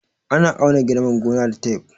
Ana auna girman gona da taf